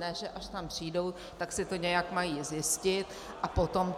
Ne že až tam přijdou, tak si to nějak mají zjistit, a potom